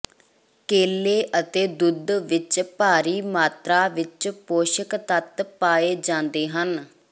ਕੇਲੇ ਅਤੇ ਦੁੱਧ ਵਿੱਚ ਭਾਰੀ ਮਾਤਰਾ ਵਿੱਚ ਪੋਸ਼ਕ ਤੱਤ ਪਾਏ ਜਾਂਦੇ ਹਨ